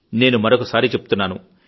నేను మరొకసారి చెబుతున్నాను